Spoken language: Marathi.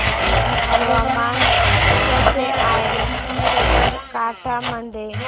हवामान कसे आहे साबरकांठा मध्ये